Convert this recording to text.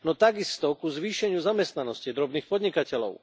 No tak isto ku zvýšeniu zamestnanosti drobných podnikateľov.